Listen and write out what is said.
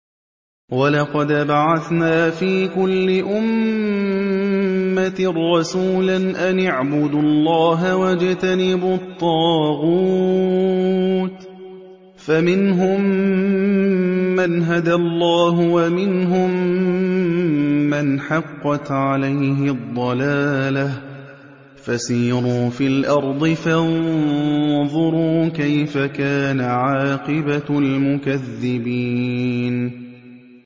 وَلَقَدْ بَعَثْنَا فِي كُلِّ أُمَّةٍ رَّسُولًا أَنِ اعْبُدُوا اللَّهَ وَاجْتَنِبُوا الطَّاغُوتَ ۖ فَمِنْهُم مَّنْ هَدَى اللَّهُ وَمِنْهُم مَّنْ حَقَّتْ عَلَيْهِ الضَّلَالَةُ ۚ فَسِيرُوا فِي الْأَرْضِ فَانظُرُوا كَيْفَ كَانَ عَاقِبَةُ الْمُكَذِّبِينَ